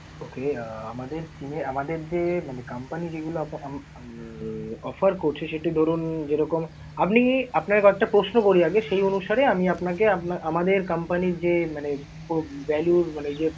Okay আহ আমাদের SIM এ আমাদের যে মানে company যেগুলো উম offer করছে, সেটি ধরুন যেরকম আপনি~ আপনাকে কয়েকটা প্রশ্ন করি আগে, সেই অনুসারে আমি আপনাকে আমাদের company র যে মানে পুরো value মানে যে